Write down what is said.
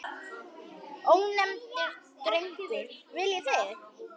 Ónefndur drengur: Viljið þið?